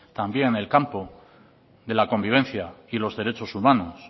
también en el campo de la convivencia y los derechos humanos